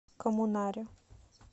коммунаре